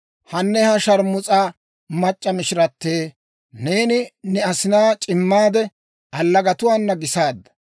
«‹ «Hane ha sharmus'a mac'c'a mishiratee, neeni ne asinaa c'imaade, allagatuwaana gisaadda!